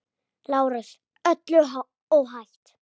LÁRUS: Öllu óhætt!